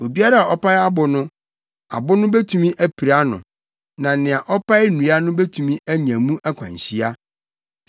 Obiara a ɔpae abo no, abo no betumi apira no; na nea ɔpae nnua no betumi anya mu akwanhyia.